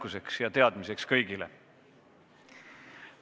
See on teadmiseks kõigile.